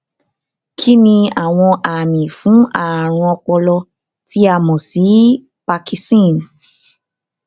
kíniàwọn àmì fún àrùn ọpọlọ tí a mọ sí parkinson